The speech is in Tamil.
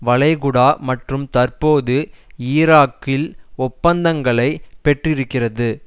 வளைகுடா மற்றும் தற்போது ஈராக்கில் ஒப்பந்தங்களை பெற்றிருக்கிறதுஅமெரிக்க